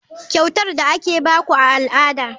Kyautar da ake ba ku a al'ada.